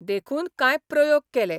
देखून काय प्रयोग केले.